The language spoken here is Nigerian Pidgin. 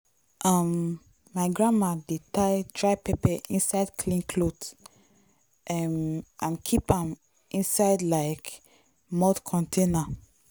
um my grandma dey tie dry pepper inside clean cloth um and keep am inside like mud container.